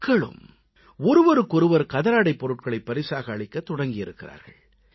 மக்களும் ஒருவருக்கு ஒருவர் கதராடைப் பொருட்களை பரிசாக அளிக்கத் தொடங்கியிருக்கிறார்கள்